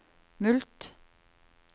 mulkt